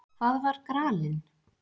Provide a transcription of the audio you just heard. Hvað var gralinn?